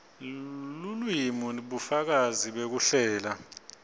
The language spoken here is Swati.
lelulwimi bufakazi bekuhlela